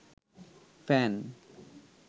fan